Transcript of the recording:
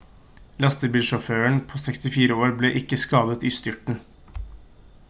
lastebilsjåføren på 64 år ble ikke skadet i styrten